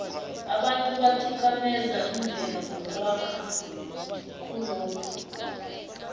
abantu bathikameza imvelo ngokwakha khulokhu